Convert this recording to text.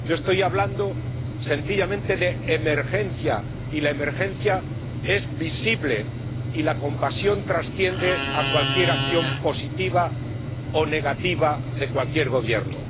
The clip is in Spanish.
Yo estoy hablando sencillamente de emergencia, y la emergencia es visible, y la compasión trasciende a cualquier acción positiva o negativa de cualquier gobierno.